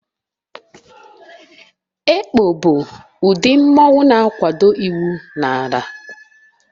Ekpo bụ udi mmanwu na-akwado iwu n'ala.